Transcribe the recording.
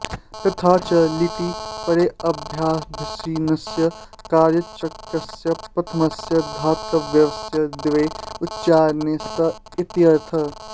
तथा च लिटि परेऽभ्यासभिन्नस्यैकाऽच्कस्य प्रथमस्य धात्वयवस्य द्वे उच्चारणे स्त इत्यर्थः